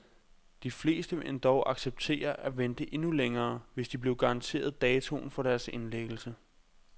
De fleste ville endog acceptere at vente endnu længere, hvis de blev garanteret datoen for deres indlæggelse.